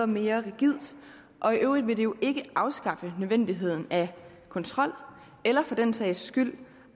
mere rigidt og i øvrigt vil det jo ikke afskaffe nødvendigheden af kontrol eller for den sags skyld